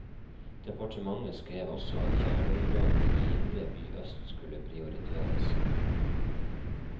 Departementet skrev også at kjerneområdene i indre by øst skulle prioriteres.